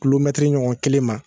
Kulomɛtri ɲɔgɔn kelen ma